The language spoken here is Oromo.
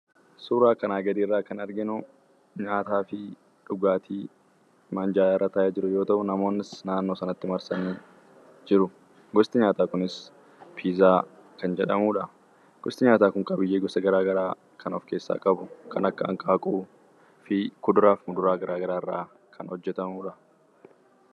Suuraa kanaa gadiirra kan arginu nyaataafi dhugaatii minjaalarra taa'ee jiru yoo ta'u, namoonnis naannoo sanatti marsanii jiru. Gosti nyaataa kunis "piizaa" kan jedhamudha. Gosti nyaataa kun qabiyyee gosa garagaraa kan of keessaa qabu; kan akka hanqaaquufi kuduraaf muduraa garagaraarraa kan hojjatamudha.